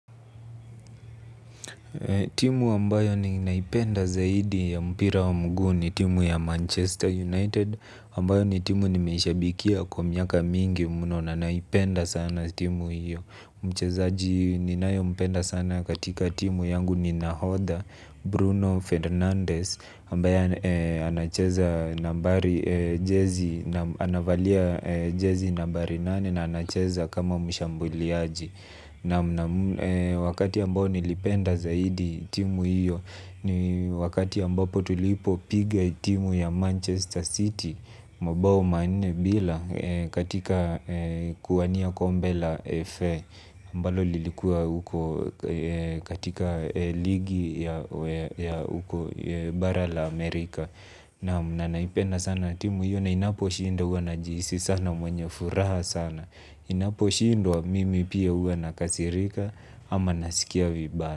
Timu ambayo ni naipenda zaidi ya mpira wa mguu ni timu ya Manchester United Ambayo ni timu nimeishabikia kwa miaka mingi muno na naipenda sana timu hiyo. Mchezaji ni nayempenda sana katika timu yangu ni Nahodha Bruno Fernandez ambaye anacheza nambari jezi, anavalia jezi nambari nane na anacheza kama mshambuliaji. Na wakati ambao nilipenda zaidi timu hiyo ni wakati ambapo tulipopiga timu ya Manchester City Mabao manne bila katika kuwania kombe la Fa ambao lilikua huko katika ligi ya bara la Amerika. Naam, na naipenda sana timu hiyo na inaposhindwa najihisi sana mwenye furaha sana. Inaposhindwa mimi pia huwa nakasirika ama nasikia vibaya.